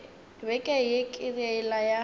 beke ye ke yela ya